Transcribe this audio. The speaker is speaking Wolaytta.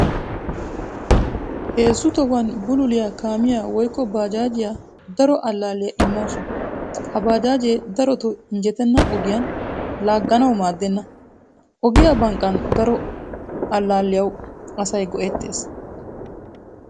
Heezzu tohuwan bululiyaa kaamiyaa woykko baajaajiya daro allalliyaa immawusu. Ha bajjaaje darotto injjetena ogiyan laaganawu maaddenna. Ogiyaa banqqan daro allaiyawu asay go'ettees.